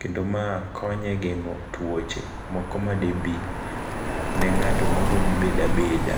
kendo ma konye e geng'o tuoche moko ma de bi ne ng'ato moro mobeda beda.